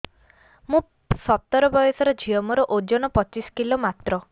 ମୁଁ ସତର ବୟସର ଝିଅ ମୋର ଓଜନ ପଚିଶି କିଲୋ ମାତ୍ର